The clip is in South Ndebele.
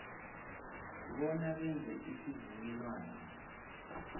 bona benze isivumelwano